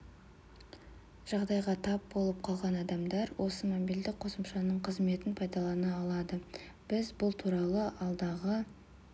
жағдайға тап болып қалған адамдар осы мобильдік қосымшаның қызметін пайдалана алады біз бұл туралы алдағы